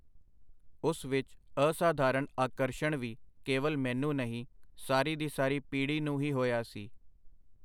ਉਸ ਵਿਚ ਅਸਾਧਾਰਨ ਆਕਰਸ਼ਣ ਵੀ ਕੇਵਲ ਮੈਨੂੰ ਨਹੀਂ, ਸਾਰੀ ਦੀ ਸਾਰੀ ਪੀੜ੍ਹੀ ਨੂੰ ਹੀ ਹੋਇਆ ਸੀ.